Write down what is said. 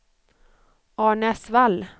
Arnäsvall